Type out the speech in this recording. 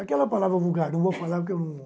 Aquela palavra vulgar, não vou falar porque eu não...